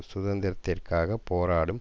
சுதந்திரத்திற்காக போராடும்